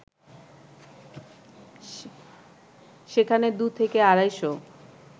সেখানে দু থেকে আড়াইশ